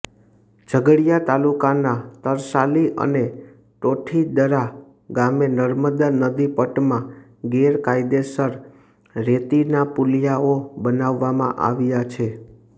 ઝઘડિયા તાલુકાના તરસાલી અને ટોઠીદરા ગામે નર્મદા નદી પટમાં ગેરકાયદેસર રેતીના પુલીયાઓ બનાવવામાં આવ્યા છે